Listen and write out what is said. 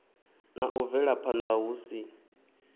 na u bvelaphanda hu si